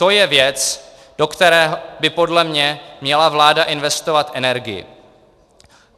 To je věc, do které by podle mě měla vláda investovat energii.